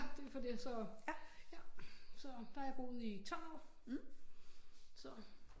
Ja det er på det så ja der har jeg boet i 12 år så